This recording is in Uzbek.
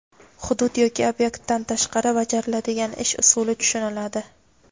hudud yoki obyektdan tashqarida bajariladigan ish usuli tushuniladi.